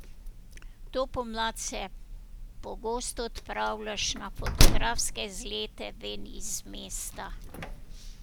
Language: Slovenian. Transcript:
To pomlad se pogosto odpravljaš na fotografske izlete ven iz mesta.